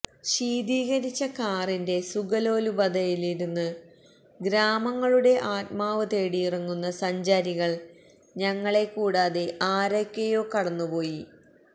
ശീതീകരിച്ച കാറിന്റെ സുഖലോലുപതയിലിരുന്ന് ഗ്രാമങ്ങളുടെ ആത്മാവ് തേടിയിറങ്ങിയ സഞ്ചാരികൾ ഞങ്ങളെ കൂടാതെ ആരൊക്കെയോ കടന്നുപോയി